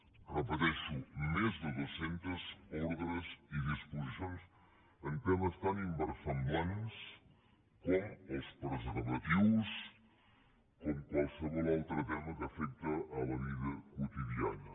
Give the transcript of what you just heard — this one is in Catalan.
ho repeteixo més de dues centes ordres i disposicions en temes tan inversemblants com els preservatius com qualsevol altre tema que afecta la vida quotidiana